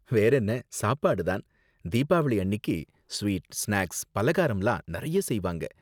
வேறென்ன, சாப்பாடு தான். தீபாவளி அன்னிக்கு ஸ்வீட், ஸ்நாக்ஸ், பாலகாரம்லாம் நறைய செய்வாங்க.